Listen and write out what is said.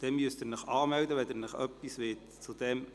Wenn Sie sich äussern möchten, müssen Sie sich anmelden.